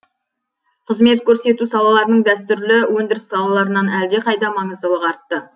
қызмет көрсету салаларының дәстүрлі өндіріс салаларынан әлдеқайда маңыздылығы артты